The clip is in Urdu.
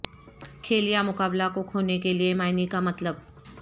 کھیل یا مقابلہ کو کھونے کے لئے معنی کا مطلب